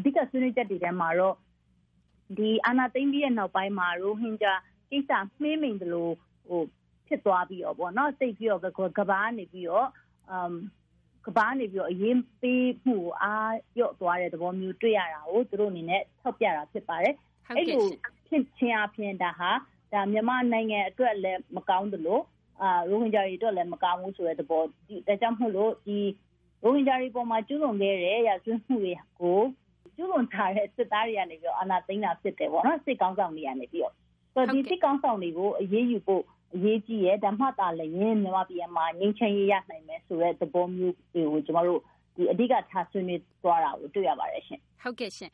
အဓိကဆွေးနွေးချက်တွေထဲမှာတော့ အာဏာသိမ်းပြီးနောက်ပိုင်း ရိုဟင်ဂျာကိစ္စ မှေးမှိန်သလိုဖြစ်သွားပြီးတော့ ကမ္ဘာကနေပြီးတော့ အရေးပေးမှု အားလျော့သွားတဲ့သဘောမျိုး တွေ့ရတာကို သူတို့အနေနဲ့ ထောက်ပြတာဖြစ်ပါတယ်။ အဲဒီလိုဖြစ်ခြင်းအားဖြင့်ဒါက မြန်မာနိုင်ငံအတွက်လည်းမကောင်းသလို ရိုဟင်ဂျာတွေအတွက်လည်းမကောင်းဘူး ဒါကြောင့်မို့လို့ ရိုဟင်ဂျာတွေအပေါ်မှာ ကျူးလွန်ခဲ့တဲ့ ရာဇဝတ်မှုတွေကို ကျူးလွန်ထားတဲ့ စစ်သားတွေကနေပြီးတော့ အာဏာသိမ်းတာဖြစ်တယ်ပေါ့နော် ။ ဒီစစ်ခေါင်းဆောင်တွေကို အရေးယူဖို့ အရေးကြီးတယ် ဒါမှသာလျင် မြန်မာပြည်မှာ ငြိမ်းချမ်းရေးရနိုင်မယ်ဆိုတဲ့သဘောမျိုး ကျမတို့ အဓိကထားဆွေးနွေးသွားတာကို တွေ့ရပါတယ်ရှင့်။ ဟုတ်ကဲ့ရှင့်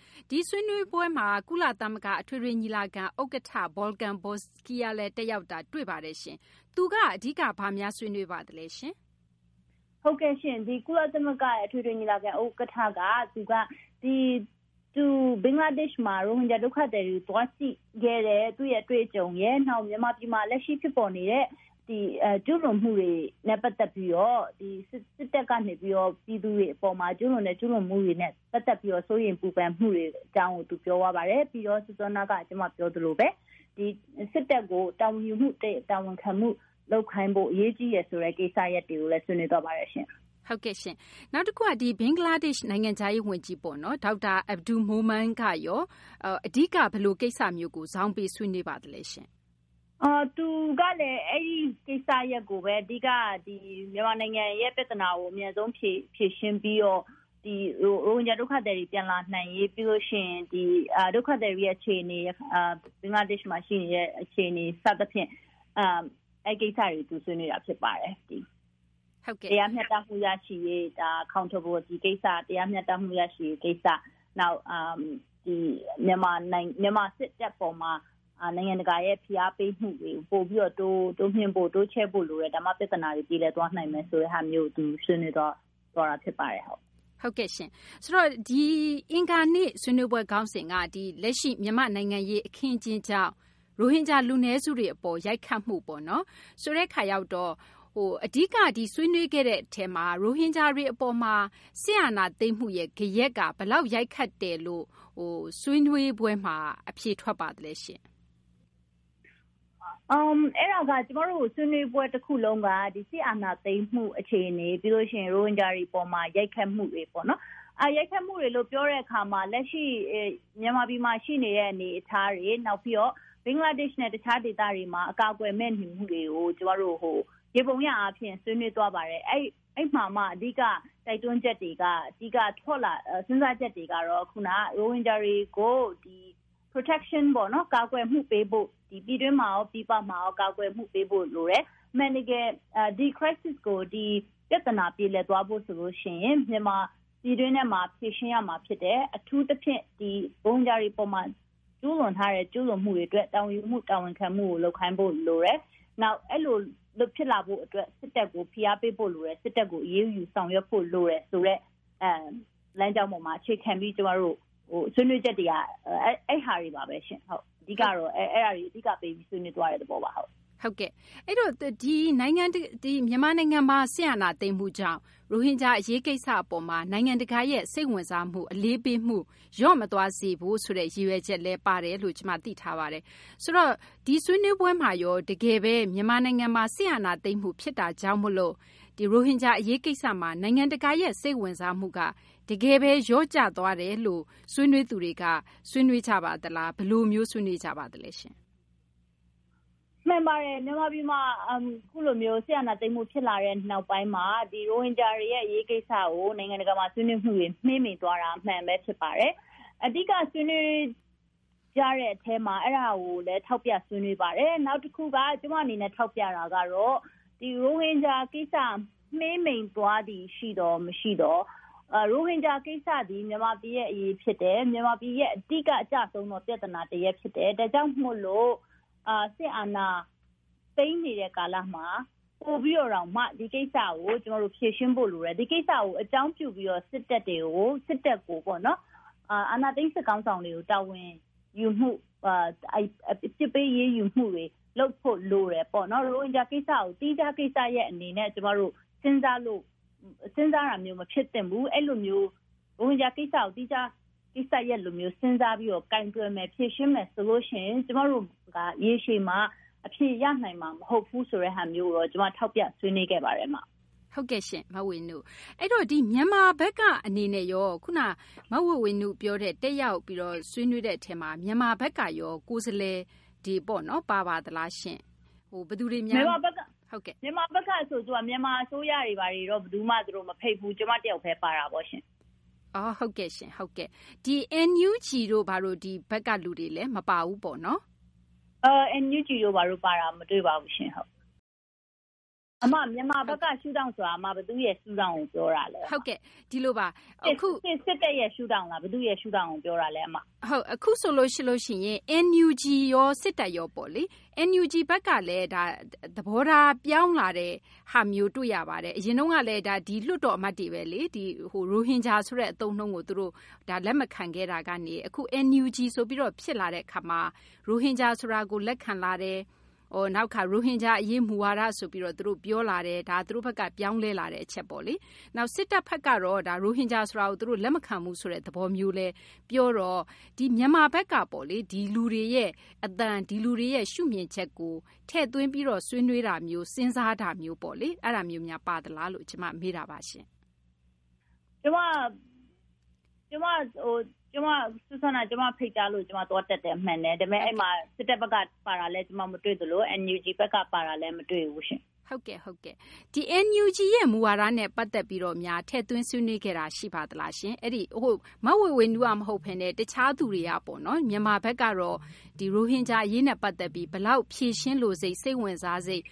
ဆွေးနွေးပွဲမှာ ကုလသမဂ္ဂအထွေထွေညီလာခံ ဥက္ကဋ္ဌ Volkan Bozkır လည်းတက်ရောက်တာ တွေ့ရပါတယ်ရှင့်။ သူက အဓိက ဘာများဆွေးနွေးပါသလဲရှင့်။ ဟုတ်ကဲ့ရှင့် ကုလသမဂ္ဂအထွေထွေညီလာခံ ဥက္ကဋ္ဌ က သူက ဘင်္ဂလားဒေ့ရှ်မှာ ရိုဟင်ဂျာဒုက္ခသည်တွေ သွားကြည့်ခဲ့တဲ့ သူ့အတွေ့အကြုံရယ် ၊ နောက်မြန်မာပြည်မှာ လက်ရှိဖြစ်ပေါ်နေတဲ့ ကျူးလွန်မှုတွေနဲ့ ပတ်သက်ပြီးတော့ စစ်တပ်ကနေပြီးတော့ ပြည်သူတွေအပေါ်မှာ ကျူးလွန်တဲ့ ကျူးလွန်မှုတွေနဲ့ ပတ်သက်ပြီးတော့ စိုးရိမ်ပူပန်မှုအကြောင်းကို သူပြောသွားပါတယ်။ ပြီးတော့ စောနက ကျမပြောသလိုပါပဲ စစ်တပ်ကို တာဝန်ယူမှု တာဝန်ခံမှု လုပ်ခိုင်းဖို့ အရေးကြီးတယ်ဆိုတဲ့ ကိစ္စရပ်တွေကိုလည်း ဆွေးနွေးသွားပါတယ်ရှင့်။ ဟုတ်ကဲ့ရှင့် နောက်တခုက ဘင်္ဂလားဒေ့ရှ်နိုင်ငံခြားရေးဝန်ကြီး Dr. Abdul Momen ကရော အဓိက ဘယ်လိုကိစ္စမျိုးကို ဇောင်းပေးဆွေးနွေးပါသလဲ။ သူကလည်း အဲဒီကိစ္စရပ်ကိုပဲ အဓိက မြန်မာနိုင်ငံ ရဲ့ ပြဿနာကို အမြန်ဆုံးဖြေရှင်းပြီးတော့ ရိုဟင်ဂျာဒုက္ခသည်တွေ ပြန်လာနိုင်ရေး၊ ပြီးရင် ဒီ ဒုက္ခသည်တွေအခြေအနေ ဘင်္ဂလားဒေ့ရှ်မှာရှိနေတဲ့ အခြေအနေ စသဖြင့် အဲဒီကိစ္စတွေကို ဆွေးနွေးတာဖြစ်ပါတယ်။ တရားမျှတမှုရရှိရေး Accountability ကိစ္စ ၊ နောက်မြန်မာစစ်တပ်အပေါ်မှာ နိုင်ငံတကာရဲ့ ဖိအားပေးမှုတွေကို ပိုပြီးတော့ တိုးမြှင့်ဖို့ တိုးချဲ့ဖို့လိုတယ် ဒါမှ ပြဿနာတွေ ပြေလည်သွားနိုင်တယ် ဒါမျိုးကို သူဆွေးနွေးသွားတာဖြစ်ပါတယ်။ ဟုတ်ကဲ့ရှင့် ဆိုတော့ အင်္ဂါနေ့ ဆွေးနွေးပွဲ ခေါင်းစဉ်က ဒီ လက်ရှိ မြန်မာနိုင်ငံရေး အခင်းအကျင်းကြောင့် ရိုဟင်ဂျာ လူနည်းစုတွေကို ရိုက်ခတ်မှုပေါ့နော် ဆိုတဲ့အခါရောက်တော့ အဓိက ဒီဆွေးနွေးခဲ့တဲ့အထဲမှာ ရိုဟင်ဂျာတွေအပေါ်မှာ စစ်အာဏာသိမ်းမှု ဂယက်က ဘယ်လောက်အထိ ရိုက်ခတ်တယ်လို့ ဆွေးနွေးပွဲမှာ အဖြေထွက်ပါသလဲရှင့်။ အဲဒါက ကျမတို့ ဆွေးနွေးပွဲ တခုလုံးက စစ်အာဏာသိမ်းမှုအခြေအနေ ပြီးရင် ရိုဟင်ဂျာတွေအပေါ်မှာ ရိုက်ခတ်မှုတွေပေ့ါနော်၊ ရိုက်ခတ်မှုတွေလို့ ပြောတဲ့အခါမှာ လက်ရှိ မြန်မာပြည်မှာ ရှိနေတဲ့ အနေအထားတွေ နောက်ပြီးတော့ ဘင်္ဂလားဒေ့ရှ်နဲ့ တခြားဒေသတွေမှာ အကာအကယ်မဲ့နေမှုတွေကို ယေဘုယျအားဖြင့် ဆွေးနွေးသွားပါတယ်။ အဲဒီမှာမှ အဓိက တိုက်တွန်းချက်တွေ အဓိက စဉ်းစားချက်တွေကတော့ ရိုဟင်ဂျာတွေကို ကာကွယ်မှုပေးဖို့ ပြည်တွင်းမှာရော ပြည်ပမှာရော ကာကွယ်မှုပေးဖို့လိုတယ် အမှန်တကယ် ဒီ Crisis ပြဿနာ ကို ပြေလည်သွားဖို့ဆိုရင် ပြည်တွင်းထဲမှာ ဖြေရှင်းရမှာဖြစ်တယ်။ အထူးသဖြင့် ရိုဟင်ဂျာတွေအပေါ်မှာ ကျူးလွန်ထားတဲ့ ကျူးလွန်မှုတွေအတွက် တာဝန်ခံမှု တာဝန်ယူမှုကို လုပ်ခိုင်းဖို့ လိုတယ်။ နောက်အဲလိုဖြစ်လာဖို့အတွက် စစ်တပ်ကို ဖိအားပေးဖို့လိုတယ် စစ်တပ်ကို အရေးယူဆောင်ရွက်ဖို့ လိုတယ်ဆိုတဲ့ လမ်းကျောင်းပေါ်မှာ အခြေခံပြီး ကျမတို့ ဆွေးနွေးချက်တွေက အဲဒါတွေပါပဲရှင့်။ အဓိကတော့ အဲဒါတွေ ဆွေးနွေးသွားတဲ့သဘောပါ။ ဟုတ်ကဲ့ အဲဒီတော့ မြန်မာနိုင်ငံမှာ စစ်အာဏာသိမ်းမှုကြောင့် ရိုဟင်ဂျာ အရေးကိစ္စပေါ်မှာ နိုင်ငံတကာရဲ့ စိတ်ဝင်စားမှု အလေးပေးမှု လျော့မသွားစေဖို့ ဆိုတဲ့ ရည်ရွယ်ချက်လည်းပါတယ်လို့ ကျမသိထားပါတယ်။ ဆိုတော့ ဒီဆွေးနွေးပွဲမှာရော တကယ်ပဲ မြန်မာနိုင်ငံမှာ စစ်အာဏာသိမ်းမှုဖြစ်တာကြောင့် ရိုဟင်ဂျာ အရေးကိစ္စမှာ နိုင်ငံတကာရဲ့ စိတ်ဝင်စားမှုက တကယ်ပဲ လျော့ကျသွားတယ်လို့ ဆွေးနွေးသူတွေက ဆွေးနွေးကြပါသလား ဘယ်လိုမျိုး ဆွေးနွေးကြပါသလဲ။ မှန်ပါတယ် မြန်မာပြည်မှာ အခုလိုမျိုး စစ်အာဏာသိမ်းမှုဖြစ်လာတဲ့နောက်ပိုင်းမှာ ရိုဟင်ဂျာ အရေးကိစ္စကို နိုင်ငံတကာမှာ ဆွေးနွေးမှုတွေ မှေးမှိန်သွားတာ အမှန်ပဲ ဖြစ်ပါတယ်။ အဓိကဆွေးနွေးကြတဲ့အထဲမှာ အဲဒါကိုလည်း ထောက်ပြဆွေးနွေးပါတယ်။ နောက်တခုက ကျမအနေနဲ့ ထောက်ပြတာကတော့ ရိုဟင်ဂျာ ကိစ္စ မှေးမှိန်သွားသည်ရှိသော် မရှိသော်၊ ရိုဟင်ဂျာ ကိစ္စသည် မြန်မာပြည်ရဲ့ အရေးဖြစ်တယ်။ မြန်မာပြည်ရဲ့ အဓိကအကျဆုံးသော ပြဿနာတရပ်ဖြစ်တယ်။ ဒါကြောင့် စစ်အာဏာသိမ်းနေတဲ့ ကာလမှာ ပိုပြီးတော့တောင်မှ ဒီကိစ္စကို ကျမတို့ ဖြေရှင်းဖို့လိုတယ်။ ဒီကိစ္စကို အကြောင်းပြုပြီးတော့ စစ်တပ်ကို အာဏာသိမ်းစစ်ခေါင်းဆောင်ကို တာဝန်ယူမှု အပြစ်ပေးအရေးယူမှုတွေ လုပ်ဖို့ လိုတယ်ပေါ့နော်။ ရိုဟင်ဂျာ ကိစ္စရပ်ကို သီးခြားကိစ္စရပ်အနေနဲ့ ကျမတို့ စဉ်းစားတာမျိုး မဖြစ်သင့်ဘူး။ ရိုဟင်ဂျာ ကိစ္စရပ်ကို သီးခြားကိစ္စရပ်လိုမျိုး စဉ်းစားပြီးတော့ ကိုင်တွယ်မယ် ဖြေရှင်းမယ်ဆိုရင် ကျမတို့က ရေရှည်မှာ အဖြေရနိုင်မှာမဟုတ်ဘူးဆိုတာကိုတော့ ကျမ ထောက်ပြဆွေးနွေးခဲ့ပါတယ်။ ဟုတ်ကဲ့ရှင့် မဝေေ၀နု။ အဲဒီတော့ မြန်မာဘက်ကအနေနဲ့ရော ခုနက မဝေေ၀နုပြောတဲ့ တက်ရောက်ပြီးတော့ ဆွေးနွေးတဲ့အထဲမှာ မြန်မာဘက်ကရော ကိုယ်စားလှယ်တွေ ပါပါသလားရှင့်။ မြန်မာဘက်ကဆိုတော့ သူတို့ အစိုးရတွေကိုတော့ မဖိတ်ဘူးရှင့်။ ကျမတယောက်ပဲ ပါတာပေါ့ရှင့်။ ဟုတ်ကဲ့ရှင့် NUG တို့ ဘက်ကလူတွေလည်း မပါဘူးပေ့ါနော်။ NUG တို့ ပါတာမတွေ့ပါဘူးရှင့်။ အမ မြန်မာဘက်က ရှု့ထောင့်ဆိုတာ ဘယ်သူ့ရှု့ထောင်ကို ပြောတာလဲ အမ ၊ စစ်တပ်ရဲ့ ရှု့ထောင့်လား ၊ ဘယ်သူ့ရှုထောင့်ကို ပြောတာလဲအမ ။ အခုဆိုရင် NUG ရော စစ်တပ်ရောပေါ့နော် NUG ဘက်ကလည်း သဘောထားပြောင်းလာတဲ့ ဟာမျိုးတွေ့ရပါတယ် အရင်တုန်းကလည်း ဒါက လွှတ်တော်အမတ်တွေပဲလေ ၊ ရိုဟင်ဂျာဆိုတဲ့ အသုံးအနှုန်းကို လက်မခံခဲ့တာကနေ အခု NUG ဆိုပြီးတော့ ဖြစ်လာတာကနေ ရိုဟင်ဂျာ ဆိုတာကို လက်ခံလာတယ်၊ နောက်တခါ ရိုဟင်ဂျာအရေး မူဝါဒဆိုပြီးတော့ သူတို့ ပြောလာတယ်၊ ဒါသူတို့ဘက်က ပြောင်းလဲလာတဲ့ အချက်ပေါ့လေ ။ နောက် စစ်တပ်ဘက်ကတော့ ရိုဟင်ဂျာ ဆိုတာကို လက်မခံဘူးဆိုတဲ့သဘောမျိုးလည်းပြောတော့ မြန်မာဘက်ကပေါ့လေ ဒီလူတွေရဲ့ အသံ ဒီလူတွေရဲ့ ရှုမြင်ချက်ကို ထည့်သွင်းပြီးတော့ ဆွေးနွေးတာမျိုး စဉ်းစားတာမျိုးပေါ့လေ အဲဒါမျိုးများ ပါသလားလို့ ကျမ မေးတာပါရှင့်။ ကျမကို ဖိတ်ကြားလို့ ကျမသွားတက်တာမှန်တယ်၊ အဲဒီမှာ စစ်တပ်ဘက်ကလည်း ပါတာ ကျမ မတွေ့သလို NUG ဘက်က ပါတာလည်း မတွေ့ဘူးရှင့်။ ဒီ NUG မူဝါဒနဲ့ ပတ်သက်ပြီးတော့ ထည့်သွင်းဆွေးနွေးခဲ့တာ ရှိပါသလားရှင့်။ မဝေေ၀နု မဟုတ်ပဲနဲ့ တခြားသူတွေကပေါ့နော် မြန်မာဘက်ကတော့ ရိုဟင်ဂျာအရေးနဲ့ ပတ်သက်ပြီး ဘယ်လောက် ဖြေရှင်းလိုစိတ်၊ စိတ်ဝင်စားစိတ်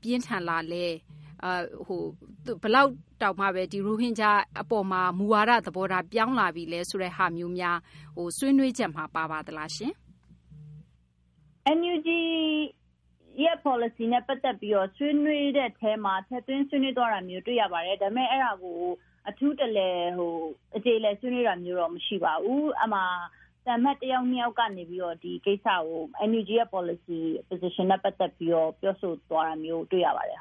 ပြင်းထန်သလဲ ဘယ်လောက်တောင်မှ ရိုဟင်ဂျာအပေါ်မှာ မူဝါဒ သဘောထားပြောင်းလာပြီလဲ ဆိုတာမျိုးများ ဆွေးနွေးချက်မှာ ပါပါသလားရှင့်။ NUG ရဲ့ ပေါ်လစီနဲ့ ပတ်သက်ပြီးတော့ ဆွေးနွေးတဲ့အထဲမှာ ထည့်သွင်းဆွေးနွေးသွားတာ တွေ့ရပါတယ်။ ဒါပေမယ့် အဲဒါကို အထူးတလည် အကျေအလည်ဆွေးနွေးတာမျိုး မရှိပါဘူး။ အဲဒီမှာ သံအမတ် တယောက်၊ ၂ ယောက်ကနေပြီးတော့ NUG ပေါ်လစီနဲ့ ပတ်သက်ပြီးတော့ ပြောဆိုသွားတာတွေ့ရပါတယ်